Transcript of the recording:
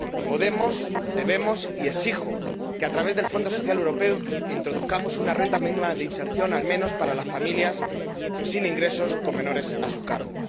Podemos, debemos y exijo que, a través del Fondo Social Europeo, introduzcamos una renta mínima de inserción, al menos para las familias sin ingresos con menores a su cargo.